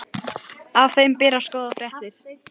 Af þeim berast góðar fréttir.